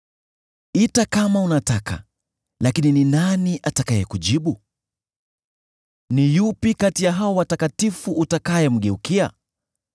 “Ita kama unataka, lakini ni nani atakayekujibu? Ni yupi kati ya hao watakatifu utakayemgeukia?